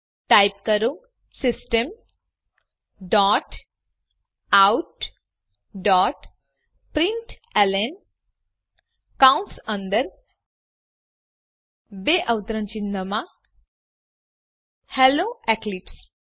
type કરો systemoutપ્રિન્ટલન hello Eclipse